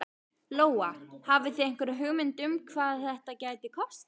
Lóa: Hafið þið einhverja hugmynd um hvað þetta gæti kostað?